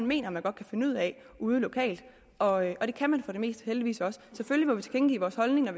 mener man godt kan finde ud af ude lokalt og det kan man for det meste heldigvis også selvfølgelig må vi tilkendegive vores holdninger